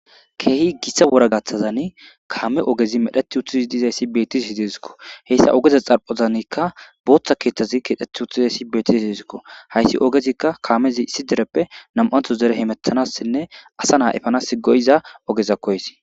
Kehi wora gaththazani kame ogey medhet utidayisa betishe desikko hesa ogeza xaphonikka botha keththazi keththeti uttidiayisaz betidayisakko hayis hayisi kamezikka issiniththo dereppe namaniththo hemeetanasinne asa naa epanas goiza ogekko hayis